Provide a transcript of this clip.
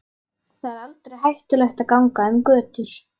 Þar er aldrei hættulegt að ganga um götur.